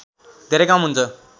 धेरै कम हुन्छ